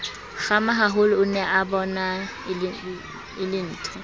kgamahaholo o neabona e lentho